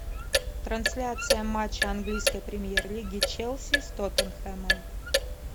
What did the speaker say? трансляция матча английской премьер лиги челси с тоттенхэмом